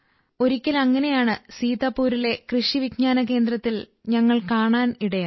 ഒരിക്കൽ അങ്ങനെയൊന്ന് സീതാപൂരിലെ കൃഷി വിജ്ഞാന കേന്ദ്രത്തിൽ ഞങ്ങൾ കാണാൻ ഇടയായി